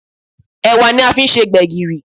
Ẹ̀wà ni a fi ń se gbẹ̀gìrì